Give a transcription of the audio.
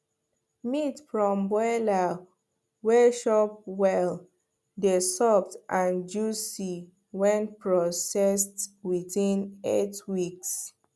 meat from broiler wey chop well dey soft and juicy when processed within eight weeks